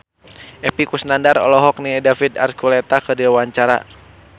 Epy Kusnandar olohok ningali David Archuletta keur diwawancara